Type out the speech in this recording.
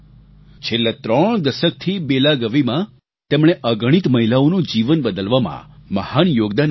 છેલ્લા ત્રણ દસકથી બેલાગવીમાં તેમણે અગણિત મહિલાઓનું જીવન બદલવામાં મહાન યોગદાન આપ્યું છે